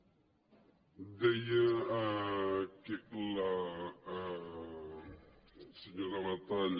deia la senyora batalla